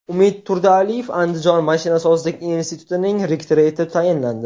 Umid Turdialiyev Andijon mashinasozlik institutining rektori etib tayinlandi.